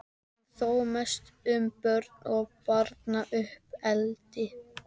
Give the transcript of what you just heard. en þó mest um börn og barnauppeldi.